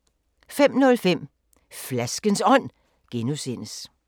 05:05: Flaskens Ånd (G)